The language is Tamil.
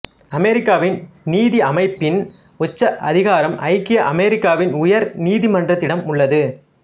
அமெரிக்காவின் நீதியமைப்பின் உச்ச அதிகாரம் ஐக்கிய அமெரிக்காவின் உயர் நீதிமன்றத்திடம் உள்ளது